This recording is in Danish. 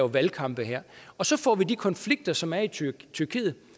valgkamp her og så får vi de konflikter som er i tyrkiet tyrkiet